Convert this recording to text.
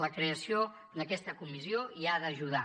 la creació d’aquesta comissió hi ha d’ajudar